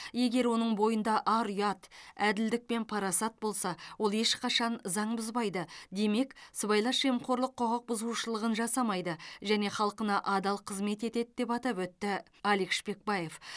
егер оның бойында ар ұят әділдік пен парасат болса ол ешқашан заң бұзбайды демек сыбайлас жемқорлық құқық бұзушылығын жасамайды және халқына адал қызмет етеді деп атап өтті алик шпекбаев